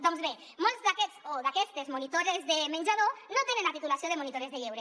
doncs bé molts d’aquests o d’aquestes monitores de menjador no tenen la titulació de monitores de lleure